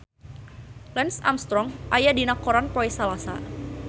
Lance Armstrong aya dina koran poe Salasa